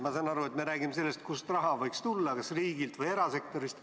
Ma saan aru, et me räägime sellest, kust raha võiks tulla, kas riigilt või erasektorist.